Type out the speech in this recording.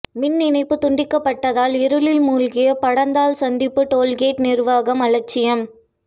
மின்இணைப்பு துண்டிக்கப்பட்டதால் இருளில் மூழ்கிய படந்தால் சந்திப்பு டோல்கேட் நிர்வாகம் அலட்சியம்